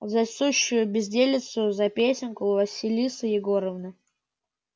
за сущую безделицу за песенку василиса егоровна